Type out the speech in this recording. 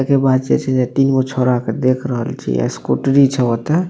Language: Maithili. एकर बाद जे छे से तीनगो छौड़ा के देख रहल छे आ स्कूटरी छे ओते।